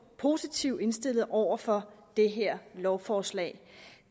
positivt indstillet over for det her lovforslag